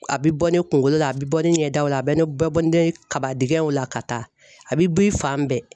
A bɛ bɔ ne kunkolo la, a bɛ bɔ ne ɲɛ daw la, a bɛ bɔ ne kabadɛgɛnw la ka taa, a bɛ bɔ i fan bɛɛ.